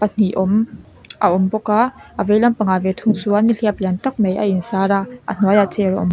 hnih awm a awm bawk a a veilampang ah ve thung chuan nihliap lian tak mai a in sar a a hnuai ah chair awm--